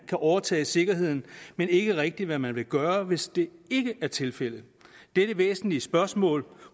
kan overtage sikkerheden men ikke rigtigt hvad man vil gøre hvis det ikke er tilfældet dette væsentlige spørgsmål